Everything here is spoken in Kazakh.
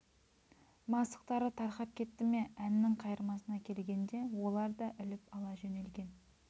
мастықтары тарқап кетті ме әннің қайырмасына келгенде олар да іліп ала жөнелген